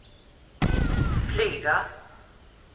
flyga